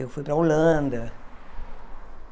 Eu fui para a Holanda.